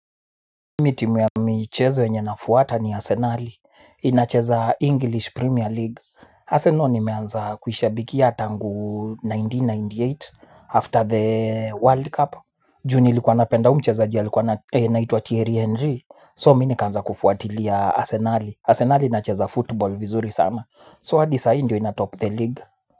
Mi timu ya michezo yenye nafuata ni Arsenali. Inacheza English Premier League. Arsenal nimeanza kuhishabikia tangu elfu moja na mia tisa na tisini na nane after the World Cup. Ju nilikuwa napenda u mcheza ji alikuwa anaitwa Thierry Henry. So minikaanza kufuatilia Arsenal. Arsenal inacheza football vizuri sana. So hadi saa hii ndio inatop the league.